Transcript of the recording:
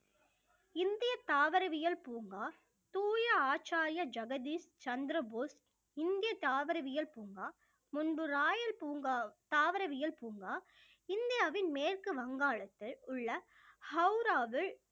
இந்திய தாவரவியல் பூங்கா தூய ஆச்சாரிய ஜகதீஸ் சந்திரபோஸ் இந்திய தாவரவியல் பூங்கா, முன்பு ராயல் பூங்கா, தாவரவியல் பூங்கா இந்தியாவின் மேற்கு வங்காளத்தில் உள்ள ஹௌராவில்